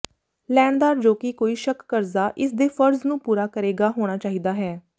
ਲੈਣਦਾਰ ਜੋ ਕਿ ਕੋਈ ਸ਼ੱਕ ਕਰਜ਼ਾ ਇਸ ਦੇ ਫਰਜ਼ ਨੂੰ ਪੂਰਾ ਕਰੇਗਾ ਹੋਣਾ ਚਾਹੀਦਾ ਹੈ